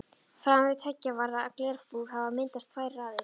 Framan við tveggja varða glerbúr hafa myndast tvær raðir.